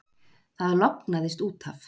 Það lognaðist út af.